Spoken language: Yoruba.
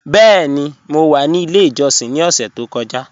Bẹẹ̀ni, mọ wa ní ilẹ̀ ìjọ́ṣìn ni ọ̀ṣẹ̀ tó kọ́ja.